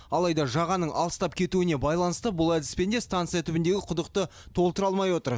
алайда жағаның алыстап кетуіне байланысты бұл әдіспен де станция түбіндегі құдықты толтыра алмай отыр